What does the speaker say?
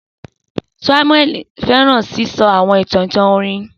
Samueli fẹran sisọ awọn itan itan iwin.